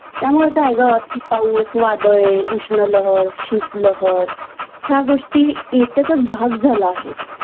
त्यामुळे काय ग पाऊस वादळे उष्णलहर शीतलहर ह्या गोष्टी नित्याचाच भाग झाला आहे